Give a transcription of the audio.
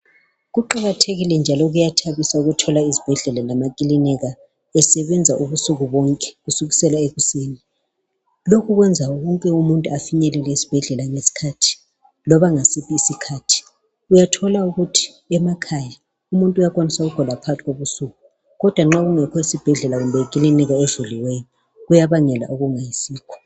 Kuqakathekile njalo kuyathabisa ukuthola izibhedlela lamakilinika besebenza ubusuku bonke kusukisela ekuseni .Lokhu kwenza wonke umuntu afinyelele esibhedlela loba ngasiphi isikhathi .Uyathola ukuthi emakhaya umuntu uyakwanisa ukugula phakathi kobusuku kodwa nxa kungekho esibhedlela kumbe ikilinika evuliweyo kuyabangela okungayisikho